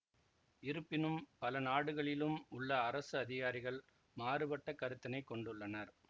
இருப்பினும் பல நாடுகளிலும் உள்ள அரசு அதிகாரிகள் மாறுபட்ட கருத்தினைக் கொண்டுள்ளனர்